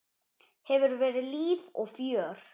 Hefur verið líf og fjör.